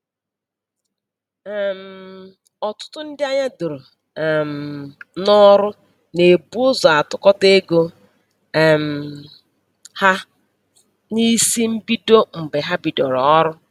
um Ọtụtụ ndị anya doro um n'ọrụ na-ebu ụzọ atụkọta ego um ha n'isi mbido mgbe ha bidoro ọrụ